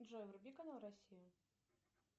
джой вруби канал россия